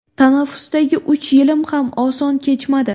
Tanaffusdagi uch yilim ham oson kechmadi.